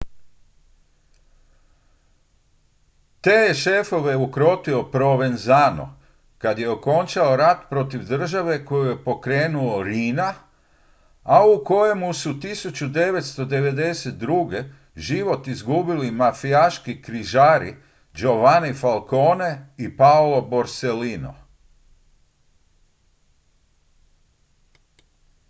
te je šefove ukrotio provenzano kad je okončao rat protiv države koji je pokrenuo riina a u kojem su 1992. život izgubili mafijaški križari giovanni falcone i paolo borsellino